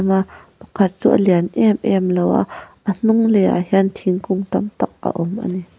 ahh pakhat chu a lian em em lo va a hnung le ah hian thingkung tamtak a awm a ni.